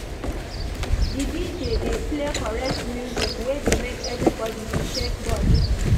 Di DJ dey play correct music wey dey make everybodi to shake body.